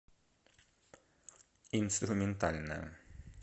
инструментальная